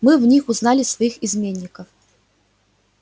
мы в них узнали своих изменников